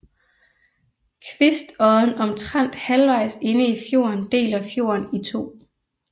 Kvistodden omtrent halvvejs inde i fjorden deler fjorden i to